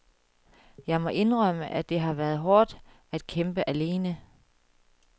Jeg må indrømme, at det har været hårdt at kæmpe alene.